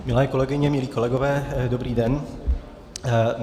Milé kolegyně, milí kolegové, dobrý den.